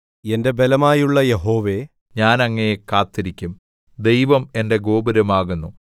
എന്റെ ബലമായുള്ള യഹോവേ ഞാൻ അങ്ങയെ കാത്തിരിക്കും ദൈവം എന്റെ ഗോപുരമാകുന്നു